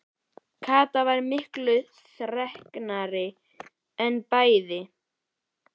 Kata sem var miklu þreknari en bæði